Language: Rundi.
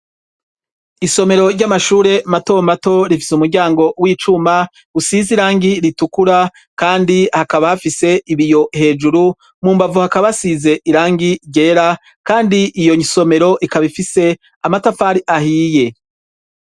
Isomero ry'amashure matomato rifise umuryango w'icuma usize irangi ritukura, kandi hakaba hafise ibiyo hejuru mumbavu hakabahasize irangi ryera, kandi iyo nsomero ikabifise amatafari ahiye.